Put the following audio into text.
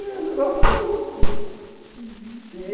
Era um negócio maluco, não é?!